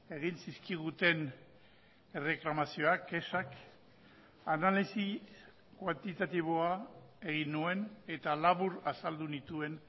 egin zizkiguten erreklamazioak kexak analisi kuantitatiboa egin nuen eta labur azaldu nituen